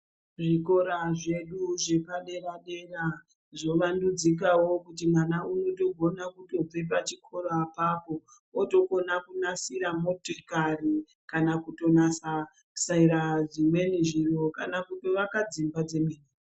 Zvikora zvedu zvepadera dera , zvovandudzikawo kuti mwana unotogona kutobve pachikora apapo otokona kunasira motikari kana kutonasasira dzimweni nzvimbo kana kutovaka dzimba dzemene.